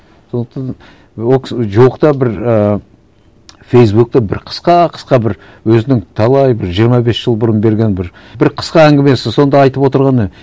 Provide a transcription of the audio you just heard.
сондықтан і ол кісі жоқ та бір і фейсбукте бір қысқа қысқа бір өзінің талай бір жиырма бес жыл бұрын берген бір бір қысқа әңгімесі сонда айтып отырғаны